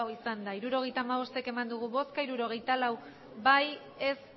botoak hirurogeita hamabost bai hirurogeita lau ez